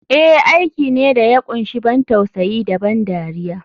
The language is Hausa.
Eh aiki ne da ya kunshi ban tausayi da ban dariya.